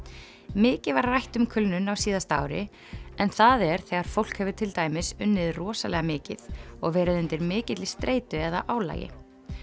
mikið var rætt um kulnun á síðasta ári en það er þegar fólk hefur til dæmis unnið rosalega mikið og verið undir mikilli streitu eða álagi